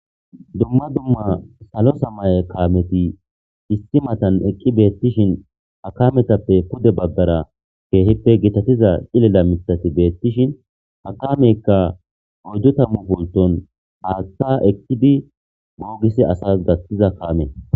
dumma dumma salo samaye kaameti issi matan eqqi beettishin hakametappe pude baggara keehippe gitatiza cilila mitati beettishin hakameykka oyddu tammu polton haatta eqkidi moogisi asas daktiza kaame